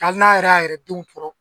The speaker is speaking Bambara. Hali n'a yɛrɛ y'a yɛrɛ denw tɔɔrɔ.